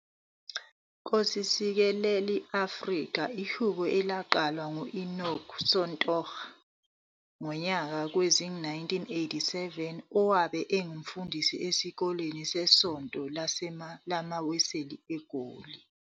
Nkosi Sikelel' i-Afrika ihubo elaqanjwa nguEnoch Sontonga ngonyaka wezi-1987, owabe engumfundisi esikoleni sesesonto lamaWeseli eGoli.